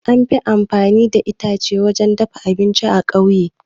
An fi amfani da itace wurin dafa abinci a ƙauye